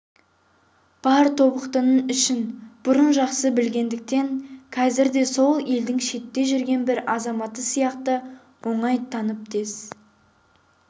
бар тобықтының ішін бұрын жақсы білгендіктен қазір де сол елдің шетте жүрген бір азаматы сияқты оңай танып тез